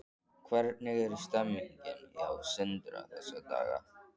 Hvernig er stemningin hjá Sindra þessa dagana?